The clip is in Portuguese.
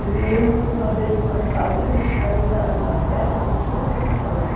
Eu me lembro que uma vez nós saímos para ir na na festa de Santo Antônio.